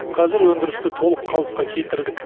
қазір өндірісті толық қалыпқа келтірдік